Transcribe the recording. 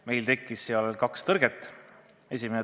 Meil tekkis seal kaks tõrget.